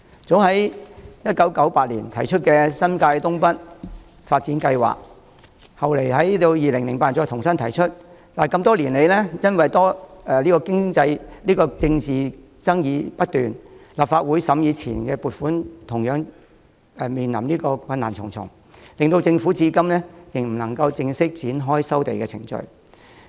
政府早於1998年提出新界東北發展計劃，後來在2008年再重新提出，但因多年來政治爭議不斷，立法會審議前期撥款時同樣困難重重，令政府至今未能正式展開收地程序。